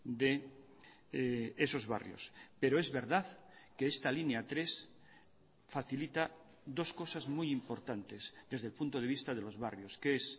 de esos barrios pero es verdad que esta línea tres facilita dos cosas muy importantes desde el punto de vista de los barrios que es